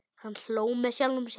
Hann hló með sjálfum sér.